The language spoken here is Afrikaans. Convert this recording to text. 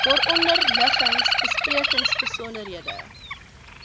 waaronder liggings besprekingsbesonderhede